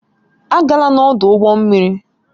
Agala n'ọdụ ụgbọ mmiri